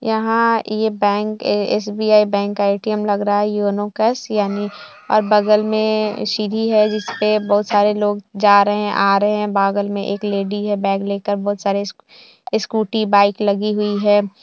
यहाँ ये bank SBI bank का ए.टी.एम लग रहा है योनो कैश यानी और बगल में सीढ़ी है जिसपे बहुत सारे लोग जा रहे है आ रहे है बगल में एक लेडी है बैग लेकर बहुत सारे स्कूटी बाइक लगी हुई है।